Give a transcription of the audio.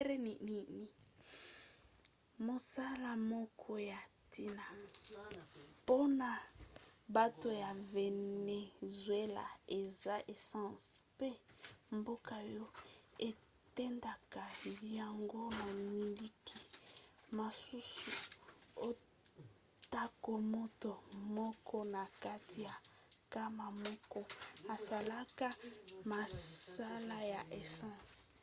mosala moko ya ntina mpona bato ya venezuela eza essence mpe mboka oyo etindaka yango na mikili mosusu atako moto moko na kati ya nkama moko asalaka mosala ya essence